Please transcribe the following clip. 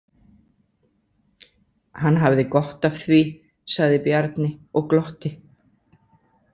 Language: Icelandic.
Hann hafði gott af því, sagði Bjarni og glotti.